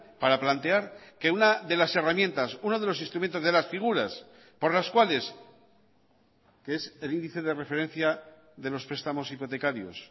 para plantear que una de las herramientas uno de los instrumentos de las figuras por las cuales qué es el índice de referencia de los prestamos hipotecarios